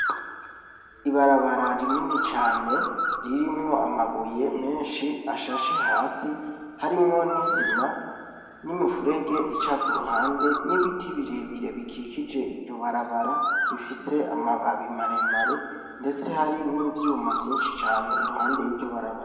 Ibarabara rinini cane ririmwo amabuye menshi ashashe hasi , harimwo n'isima, n'imifurege ica ku ruhande n'ibiti birebire bikikije iryo barabara bifise amababi maremare ndetse hari n'ivyuma vyinshi cane iruhande y'iryo barabara.